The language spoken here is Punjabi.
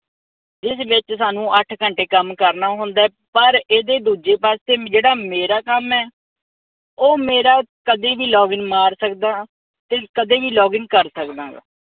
ਜੀਦੇ ਵਿਚ ਸਾਨੂੰ ਅੱਠ ਘੰਟੇ ਕੰਮ ਕਰਨਾ ਹੁੰਦੈ। ਪਰ ਇਹਦੇ ਦੂਜੇ ਪਾਸੇ ਜਿਹੜਾ ਮੇਰਾ ਕੰਮ ਐ ਉਹ ਮੇਰਾ ਕਦੀ ਵੀ ਲੋਗਿਨ ਮਾਰ ਸਕਦਾ ਤੇ ਕਦੇ ਵੀ login ਕਰ ਸਕਦਾ ਗਾ।